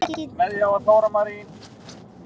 Það varð mikið tap.